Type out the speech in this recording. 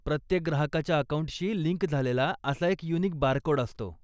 प्रत्येक ग्राहकाच्या अकाऊंटशी लिंक झालेला असा एक युनिक बारकोड असतो.